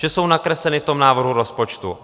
Že jsou nakresleny v tom návrhu rozpočtu.